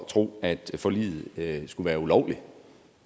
tro at forliget skulle være ulovligt